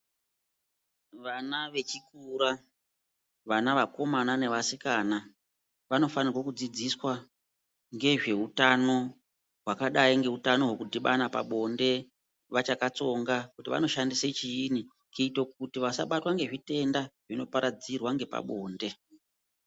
Vana vechikora vana vakomana nevasikana vanofanirwe kudzidziswa ngezveutano hwakadai ngeutano hwekudhibana pabonde vachakatsonga kuti vanoshandise chiini kuito kuti vasabatwa ngezvitenda zvinoparadzirwa ngepabonde.